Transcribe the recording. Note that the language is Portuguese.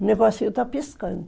O negocinho está piscando.